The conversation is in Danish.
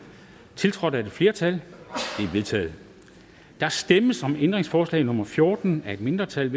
tiltrådt af et flertal de er vedtaget der stemmes om ændringsforslag nummer fjorten af et mindretal